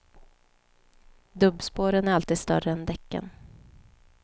Dubbspåren är alltid större än däcken.